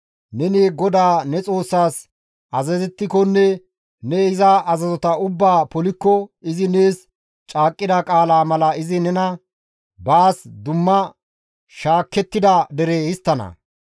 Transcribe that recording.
Neni GODAA ne Xoossaas azazettikonne ne iza azazota ubbaa polikko izi nees caaqqida qaalaa mala izi nena baas dumma shaakettida dere histtana.